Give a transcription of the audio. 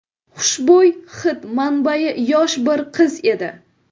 Xushbo‘y hid manbai yosh bir qiz edi.